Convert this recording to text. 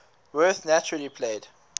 werth naturally played